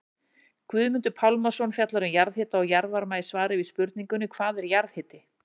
Guðmundur Pálmason fjallar um jarðhita og jarðvarma í svari við spurningunni Hvað er jarðhiti?